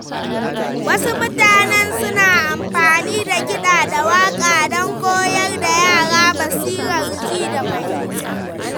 Wasu mutanen suna amfani da kiɗa da waka don koyar da yara basirar ji da fahimta.